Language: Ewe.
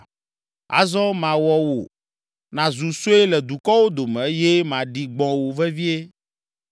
“Azɔ mawɔ wò nàzu sue le dukɔwo dome eye maɖi gbɔ̃ wò vevie.